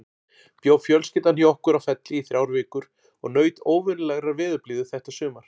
Bjó fjölskyldan hjá okkur á Felli í þrjár vikur og naut óvenjulegrar veðurblíðu þetta sumar.